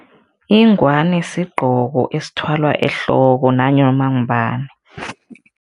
Ingwani sigqoko esithwalwa ehloko nanoma ngubani.